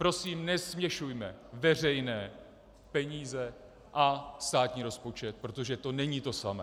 Prosím, nesměšujme veřejné peníze a státní rozpočet, protože to není to samé.